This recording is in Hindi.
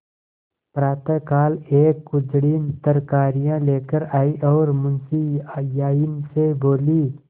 प्रातःकाल एक कुंजड़िन तरकारियॉँ लेकर आयी और मुंशियाइन से बोली